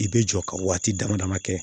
I bɛ jɔ ka waati dama dama kɛ